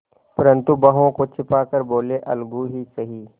परंतु भावों को छिपा कर बोलेअलगू ही सही